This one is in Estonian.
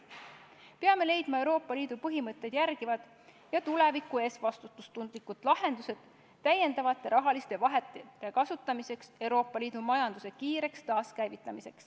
Peame leidma Euroopa Liidu põhimõtteid järgivad ja tuleviku ees vastutustundlikud lahendused täiendavate rahaliste vahendite kasutamiseks, et Euroopa Liidu majandus kiiresti taaskäivitada.